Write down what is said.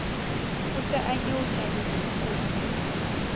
e se e nyeunya diboko